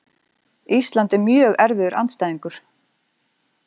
Ísland er mjög erfiður andstæðingur.